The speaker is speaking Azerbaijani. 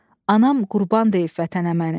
Anam qurban deyib vətənə məni.